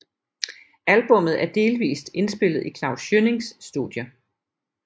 Albummet er delvist indspillet i Klaus Schønnings studie